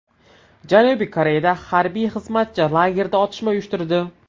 Janubiy Koreyada harbiy xizmatchi lagerda otishma uyushtirdi.